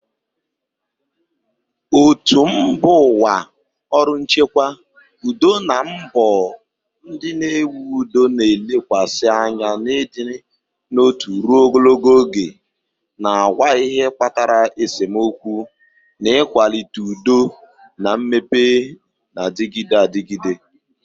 Òtù mba ụwa, ọrụ nchekwa udo na mbọ ndị na-ewu udo na-elekwasị anya n'ịdị n'otu ruo ogologo oge, na-agwa ihe kpatara esemokwu, na ịkwalite udo na mmepe na-adịgide adịgide.